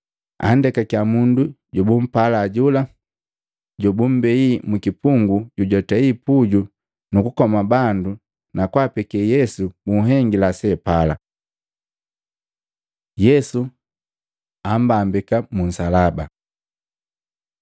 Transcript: Andekakiya mundu jobumpala jola, jobummbei mukipungu jojwatei puju nukukoma bandu na kwaapeke Yesu bunhengila seapala. Yesu ammbambika mu nsalaba Matei 27:32-44; Maluko 15:21-32; Yohana 19:17-27